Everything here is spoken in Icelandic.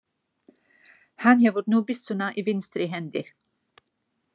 Hann hefur nú byssuna í vinstri hendi.